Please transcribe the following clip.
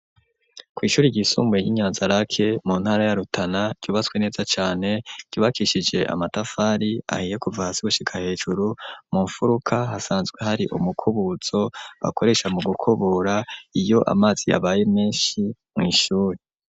Kw'ishur ryisumbuye y'inyanza rake mu ntara ya rutana cubatswe neza cane cubakishije amatafari ahiye kuva hasi gushika hejuru mu furuka hasanzwe hari umukubutso bakoresha mu gukobura iyo amazi yabaye menshi mw'ishure.